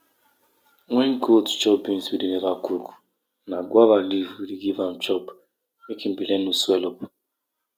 dem dey waka with bare leg drop beans for holy bush as part of how we how we take greet the old people.